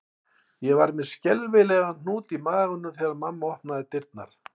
Ég var með skelfilegan hnút í maganum þegar mamma opnaði dyrnar